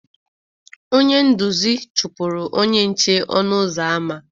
Onye nduzi chụpụrụ onye nche ọnụ ụzọ ámá